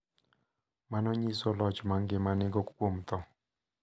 Ma nyiso loch ma ngima nigo kuom tho.